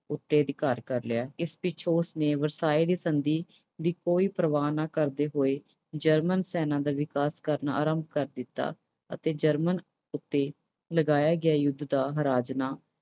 ਉੱਤੇ ਅਧਿਕਾਰ ਕਰ ਲਿਆ। ਇਸ ਪਿੱਛੋਂ ਉਸਨੇ ਵਰਸਾਏ ਦੀ ਸੰਧੀ ਦੀ ਕੋਈ ਪਰਵਾਹ ਨਾ ਕਰਦੇ ਹੋਏ German ਸੈਨਾ ਦਾ ਵਿਕਾਸ ਕਰਨਾ ਸ਼ੁਰੂ ਕਰ ਦਿੱਤਾ। ਅਤੇ German ਉੱਤੇ ਲਗਾਇਆ ਗਿਆ ਯੁੱਧ ਦਾ ਹਰਜ਼ਾਨਾ